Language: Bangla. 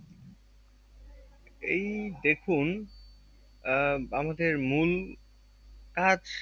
এই দেখুন আহ আমাদের মূল কাজ